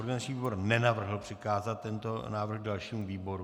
Organizační výbor nenavrhl přikázat tento návrh dalšímu výboru.